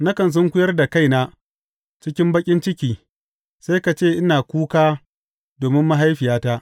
Nakan sunkuyar da kaina cikin baƙin ciki sai ka ce ina kuka domin mahaifiyata.